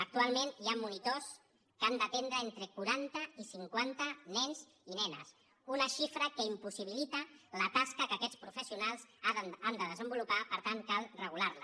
actualment hi han monitors que han d’atendre entre quaranta i cinquanta nens i nenes una xifra que impossibilita la tasca que aquests professionals han de desenvolupar per tant cal regular la